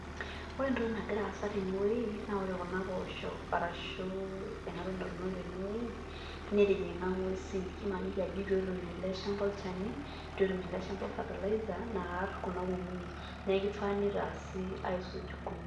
Ore entoki nagira aasa tenewuei naa ore kuna poosho ashu enatoki natuunoki tenewoi netijing'a nguesi ibala ajo itu etum ele shamba olchani, itu etum ele shamba fertiliser naarr kuna kukuuni neku kifaa nitaasi aisuj kuna..